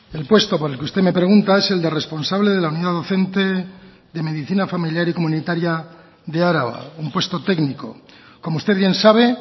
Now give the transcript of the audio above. el puesto por el que usted me pregunta es el de responsable de la unidad docente de medicina familiar y comunitaria de araba un puesto técnico como usted bien sabe